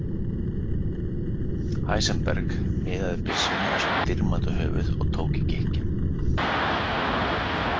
Heisenberg miðaði byssunni á sitt dýrmæta höfuð og tók í gikkinn.